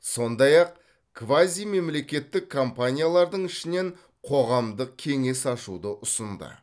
сондай ақ квазимемлекеттік компаниялардың ішінен қоғамдық кеңес ашуды ұсынды